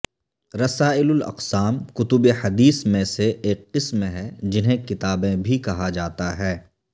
رسائلاقسام کتب حدیث میں سے ایک قسم ہے جنہیں کتابیں بھی کہا جاتا ہے